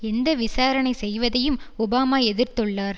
எந்த விசாரணை செய்வதையும் ஒபாமா எதிர்த்துள்ளார்